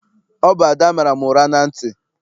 Ọ bụ Ada mara m ụra na ntị.